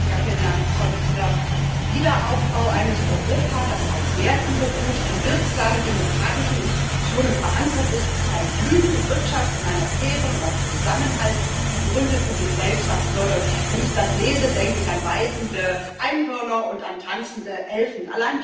Herr Präsident! Wiederaufbau eines Europas, das auf Werten beruht, in wirksamen demokratischen Institutionen verankert ist und eine blühende Wirtschaft in einer fairen und auf Zusammenhalt gegründeten Gesellschaft fördert wenn ich das lese, denke ich an weidende Einhörner und an tanzende Elfen.